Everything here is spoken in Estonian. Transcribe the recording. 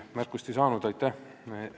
Märkust ma ei saanud – aitäh!